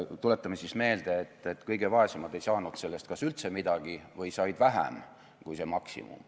Tuletame meelde, et kõige vaesemad ei saanud sellest kas üldse midagi või said vähem kui maksimumi.